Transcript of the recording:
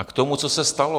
A k tomu, co se stalo.